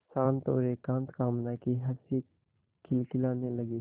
शांत और एकांत कामना की हँसी खिलखिलाने लगी